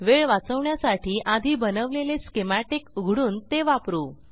वेळ वाचवण्यासाठी आधी बनवलेले स्कीमॅटिक उघडून ते वापरू